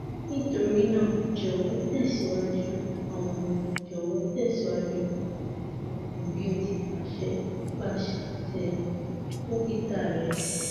nitorinaa jọwọ tẹsiwaju awọn jọwọ tẹsiwaju awọn oogun bi o ti paṣẹ nipasẹ dokita rẹ